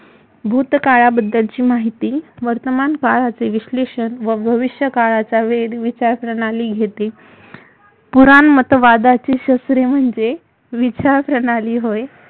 भूतकाळाबद्दलची माहिती वर्तमानकाळाचे विश्लेषण व भविष्य काळााचा वेध विचारप्रणाली घेते पुराणमतवादाचे शस्त्रे म्हणजे विचारप्रणाली होय